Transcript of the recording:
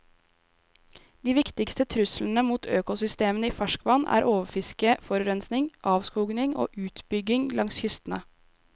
De viktigste truslene mot økosystemene i ferskvann er overfiske, forurensning, avskoging og utbygging langs kystene.